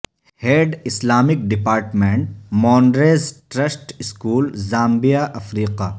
head Islamic department Moon Rays Trust school Zambia Africa